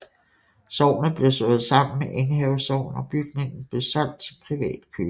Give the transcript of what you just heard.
Sognet blev slået sammen med Enghave Sogn og bygningen blev solgt til privat køber